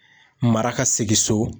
Mara ka segin so.